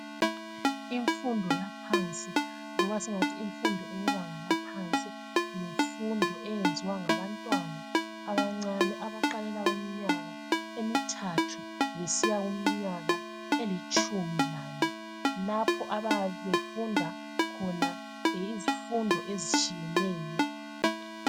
Imfundo yaphansi loba singathi imfundo yebanga laphansi yimfundo eyenziwa ngabantwana abancane abaqalela kuminyaka emithathu kusiya kuminyaka elitshumi lane lapho abayabe befunda khona izifundo ezitshiyeneyo.